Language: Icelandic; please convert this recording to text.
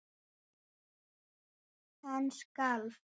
Hann skalf.